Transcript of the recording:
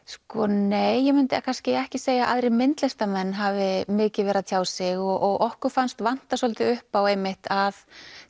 nei ég myndi kannski ekki segja að aðrir myndlistarmenn hafi mikið verið að tjá sig og okkur fannst vanta svolítið upp á einmitt að